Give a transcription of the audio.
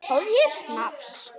Fáðu þér snafs!